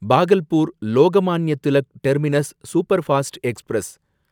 Bhagalpur Lokmanya Tilak terminus superfast express